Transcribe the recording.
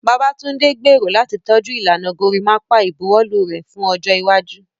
Babatunde gbèrò láti tọ́jú ìlànà gorimapa ìbuwọ́lù rẹ̀ fún ọjọ́ iwájú.